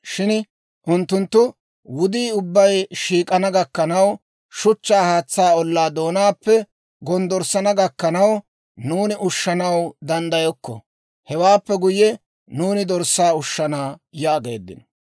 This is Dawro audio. Shin unttunttu, «Wudii ubbay shiik'ana gakkanaw, shuchchaa haatsaa ollaa doonaappe gonddorssana gakkanaw, nuuni ushshanaw danddayokko. Hewaappe guyye, nuuni dorssaa ushshana» yaageeddino.